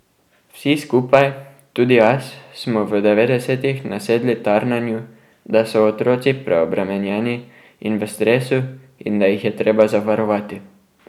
Vsi skupaj, tudi jaz, smo v devetdesetih nasedli tarnanju, da so otroci preobremenjeni in v stresu in da jih je treba zavarovati.